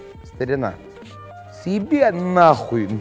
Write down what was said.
старина съеби нахуй